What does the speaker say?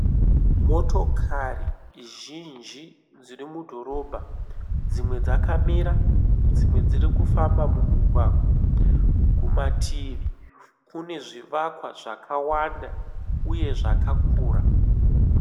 Motokari zhinji dziri mudhorobha dzimwe dzakamira dzimwe dzirikufamba mumugwagwa. Kumativi kunezvivakwa zvakawanda uye zvakakura.